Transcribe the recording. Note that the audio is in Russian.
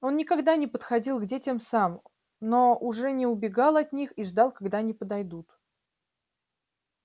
он никогда не подходил к детям сам но уже не убегал от них и ждал когда они подойдут